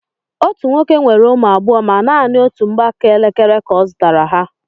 Otú nwoke nwere ụmụ abụọ ma nanị otú mgbaaka elekere ka ọ zụtara ha.